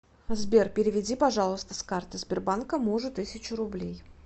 сбер переведи пожалуйста с карты сбербанка мужу тысячу рублей